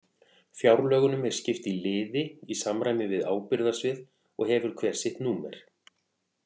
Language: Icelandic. Fjárlögunum er skipt í liði í samræmi við ábyrgðarsvið og hefur hver sitt númer.